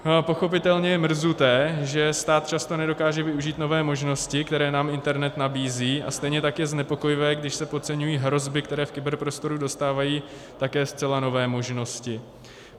Pochopitelně je mrzuté, že stát často nedokáže využít nové možnosti, které nám internet nabízí, a stejně tak je znepokojivé, když se podceňují hrozby, které v kyberprostoru dostávají také zcela nové možnosti.